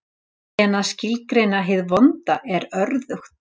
En að skilgreina hið vonda er örðugt.